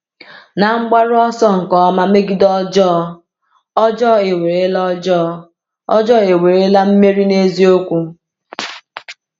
N’mgbaru ọsọ nke ọma megide ọjọọ, ọjọọ ewerela ọjọọ, ọjọọ ewerela mmeri n’eziokwu?